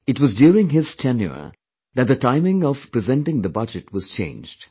It was during his tenure that the timing of presenting the budget was changed